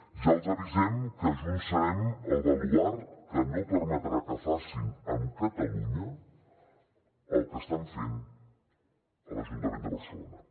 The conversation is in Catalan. ja els avisem que junts serem el baluard que no permetrà que facin amb catalunya el que estan fent a l’ajuntament de barcelona